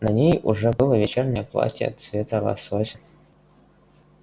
на ней уже было вечернее платье цвета лосося